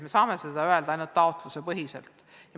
Me saame seda öelda ainult taotluse põhjal.